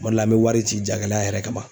Kuma dɔ la an mɛ wari ci jagɛlɛya yɛrɛ kama.